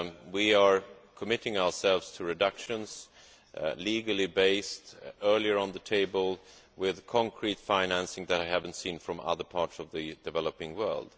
We are committing ourselves to reductions, legally based, earlier on the table, with concrete financing that I have not seen from other parts of the developing world.